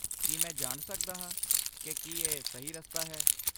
ਕੀ ਮੈਂ ਜਾਣ ਸਕਦਾ ਹਾਂ ਕਿ ਕੀ ਇਹ ਸਹੀ ਰਸਤਾ ਹੈ?